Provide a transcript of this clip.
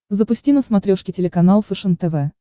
запусти на смотрешке телеканал фэшен тв